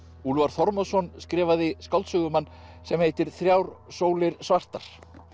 Úlfar Þormóðsson skrifaði skáldsögu um hann sem heitir þrjár sólir svartar